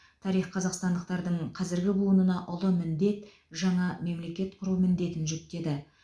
тарих қазақстандықтардың қазіргі буынына ұлы міндет жаңа мемлекет құру міндетін жүктеді